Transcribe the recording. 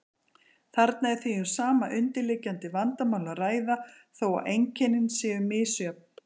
Þarna er því um sama undirliggjandi vandamál að ræða þó að einkennin séu misjöfn.